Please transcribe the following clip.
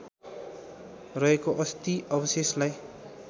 रहेको अस्थि अवशेषलाई